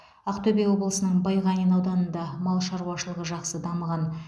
ақтөбе облысының байғанин ауданында мал шаруашылығы жақсы дамыған